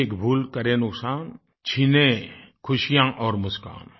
एक भूल करे नुकसान छीने खुशियाँ और मुस्कान